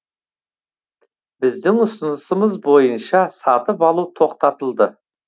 біздің ұсынысымыз бойынша сатып алу тоқтатылды